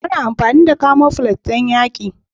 Ana amfani da camoflage don yaƙi.